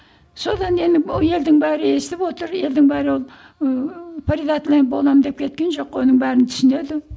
содан енді елдің бәрі естіп отыр елдің бәрі ол ыыы предатель боламын деп кеткен жоқ қой оның бәрін түсінеді